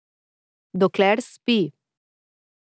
Dokler spi.